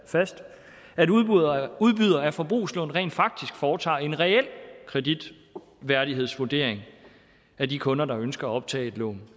fast at udbydere udbydere af forbrugslån rent faktisk foretager en reel kreditværdighedsvurdering af de kunder der ønsker at optage et lån